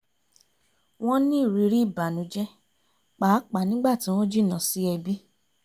wọ́n ní ìrírí ìbànújẹ́ pàápàá nígbà tí wọ́n jìnnà sí ẹbí